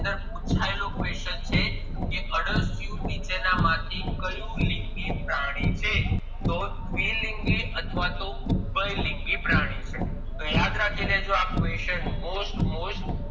છેલ્લો question છે કે અળસિયું નીચેના માંથી કયું પ્રાણી છે તો દ્વિ લિંગી અથવા તોહ ઉભય લિંગી પ્રાણી છે તો યાદ રાખી લેજો આ question most most